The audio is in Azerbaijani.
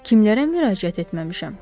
Kimlərə müraciət etməmişəm?